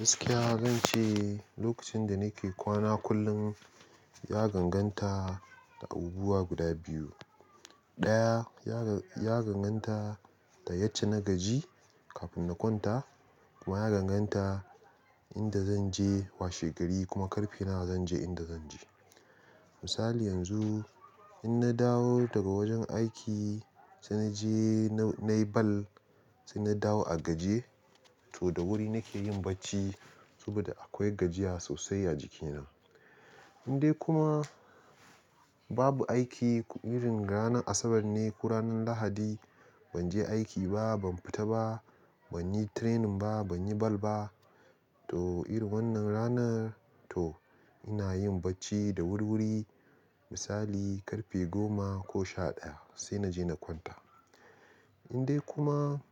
Gaskiya zan ce lokacin da nake kwana kullum ya ganganta da abubuwa guda biyu. Ɗaya ya, ya danganta da yace na gaji kafin na kwanta kuma ya danganta inda zan je washegari kuma karfe nawa zan je inda zan je. Misali yanzu in na dawo daga wajen aiki sai na je nai ball sai na dawo a gaji to da wuri nake yin bacci saboda akwai gajiya sosai a jikina. In dai kuma babu aiki irin ranar Asabar ne ko ranar Lahadi ban je aiki ba, ban fita ba, ban yi training ba, ban yi ball ba to irin wannan ranar to ina yin bacci da wuri-wuri misali karfe goma ko sha ɗaya sai na je na kwanta. Misali yanzu in na dawo daga wajen aiki sai na je nai ball sai na dawo a gaji to da wuri nake yin bacci saboda akwai gajiya sosai a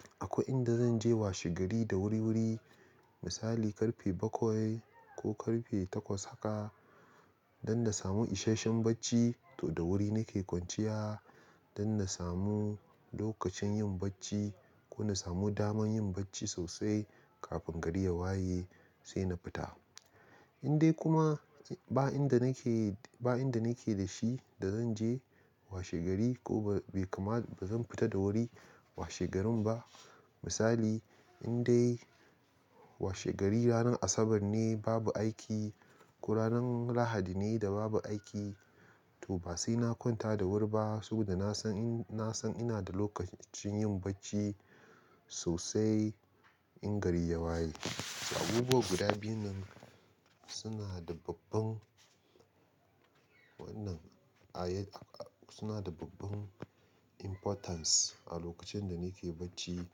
jikina. Lokacin yin bacci ko na samu daman yin bacci sosai kafin gari ya waye sai na fita. In dai kuma ba inda nake, ba inda nake da shi da zan je washegari ko bai kam ba zan fita da wuri washegarin ba misali in dai washegari ranar Asabar ne babu aiki ko ranar Lahadi ne da babu aiki to ba sai na kwanta da wuri ba saboda na san in, na san ina da lokacin yin bacci sosai in gari ya waye. Abubuwa guda biyun nan suna da babban wannan ayy- suna da babban importance a lokacin da nake bacci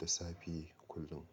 da safe kullum.